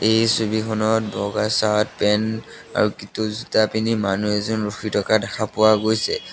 এই ছবিখনত বগা চাৰ্ট পেন আৰু জোতা পিন্ধি মানুহ এজন ৰখি থকা দেখা পোৱা গৈছে।